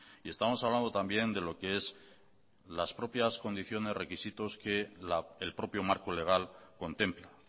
y estamos hablando también de lo que es las propias condiciones requisitos que el propio marco legal contempla